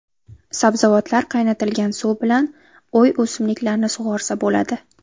Sabzavotlar qaynatilgan suv bilan uy o‘simliklarini sug‘orsa bo‘ladi.